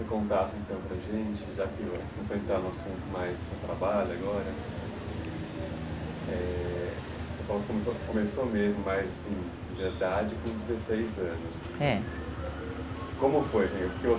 Eu queria que você contasse então para a gente, já que você está no assunto mais do seu trabalho agora, é... você começou de verdade com dezesseis anos. É. Como foi